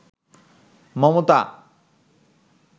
Mamata